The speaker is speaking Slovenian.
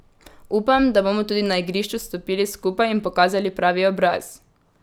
Upam, da bomo tudi na igrišču stopili skupaj in pokazali pravi obraz.